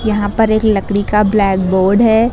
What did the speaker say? यहां पर एक लकड़ी का ब्लैक बोर्ड है।